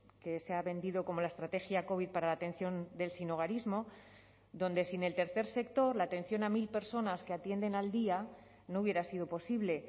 que se ha vendido como la estrategia covid para la atención del sinhogarismo donde sin el tercer sector la atención a mil personas que atienden al día no hubiera sido posible